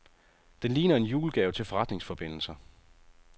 Den ligner en julegave til forretningsforbindelser.